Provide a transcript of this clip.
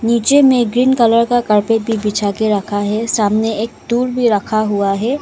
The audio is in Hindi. नीचे में ग्रीन कलर का कार्पेट भी बिछा के रखा है सामने एक टूल भी रखा हुआ है।